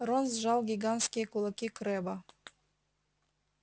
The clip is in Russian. рон сжал гигантские кулаки крэбба